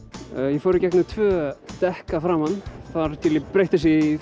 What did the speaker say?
ég fór í gegnum tvö dekk að framan þar til ég breytti þessu í